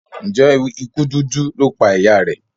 Njé ikú dúdú lọ pá ìyá rẹ?